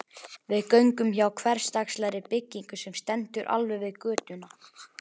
Við göngum hjá hversdagslegri byggingu sem stendur alveg við götuna.